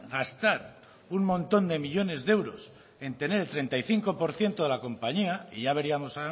gastar un montón de millónes de euros en tener el treinta y cinco por ciento de la compañía y ya veríamos